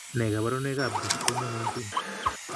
Nee kabarunoikab Dystonia 19?